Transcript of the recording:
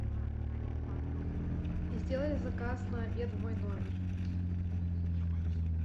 сделай заказ на обед в мой номер